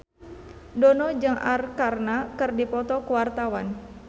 Dono jeung Arkarna keur dipoto ku wartawan